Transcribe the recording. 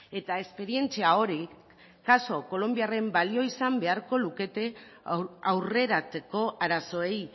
eta esperientzia hori kolonbiaren kasua balio izan beharko luke aurreratzeko arazoei